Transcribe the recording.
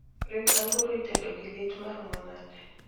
ring anguroitedo gi let maromo nade